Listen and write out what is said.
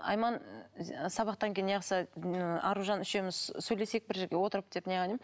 айман сабақтан кейін не қылса ы аружан үшеуміз сөйлесейік бір жерге отырып деп